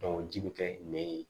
ji bɛ kɛ nɛ ye